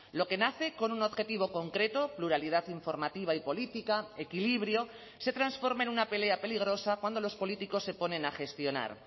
lo que nace con un objetivo concreto pluralidad informativa y política equilibrio se transforme en una pelea peligrosa cuando los políticos se ponen a gestionar